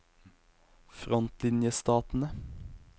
frontlinjestatene